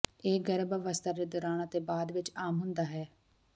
ਇਹ ਗਰਭ ਅਵਸਥਾ ਦੇ ਦੌਰਾਨ ਅਤੇ ਬਾਅਦ ਵਿੱਚ ਆਮ ਹੁੰਦਾ ਹੈ